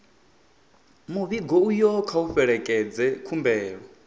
muvhigo uyo kha u fhelekedze khumbelo